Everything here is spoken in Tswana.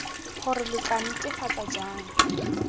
gore lo tla netefatsa jang